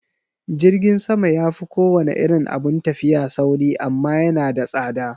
Jirgin sama yafi kowane irin abun tafiya sauri amma yana da tsada